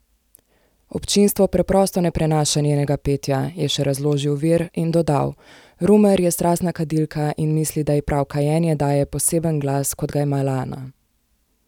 Občinstvo preprosto ne prenaša njenega petja,' je še razložil vir in dodal: 'Rumer je strastna kadilka in misli, da ji prav kajenje daje poseben glas, kot ga ima Lana.